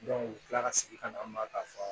u bɛ tila ka segin ka na ma ka fa